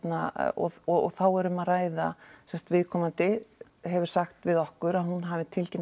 og þá er um að ræða viðkomandi hefur sagt við okkur að hún hafi tilkynnt